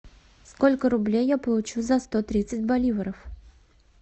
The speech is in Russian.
сколько рублей я получу за сто тридцать боливаров